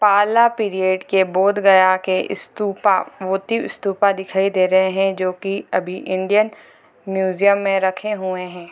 पाला पीरियड के बोध गया के स्तूप मोती स्तूप दिखाई दे रहे है जो की अभी इंडियन म्यूजियम में रखे हुए है |